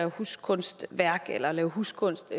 huskunstværk eller lave huskunst